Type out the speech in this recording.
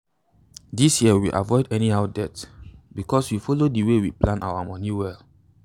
this year we avoid any how debt because we follow the way we plan our money well.